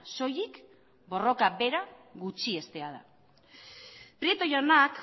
soilik borroka bera gutxiestea da prieto jaunak